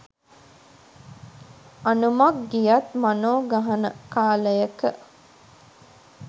"අනුමක් ගියත් මනො ගහන" කාලයක